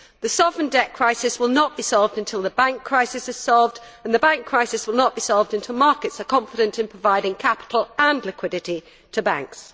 The sovereign debt crisis will not be solved until the bank crisis is solved and the bank crisis will not be solved until markets are confident in providing capital and liquidity to banks.